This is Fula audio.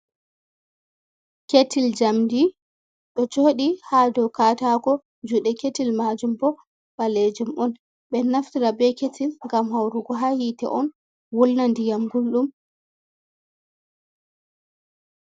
Ketl jamdi ɗo joɗi ha dow katako juɗe ketil majum bo, ɓalejum on. Ɓe ɗo naftira be ketil ngam haurugo ha hite on wulna ndiyam gulɗum.